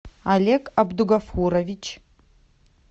олег абдугафурович